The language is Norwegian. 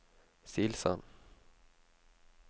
Silsand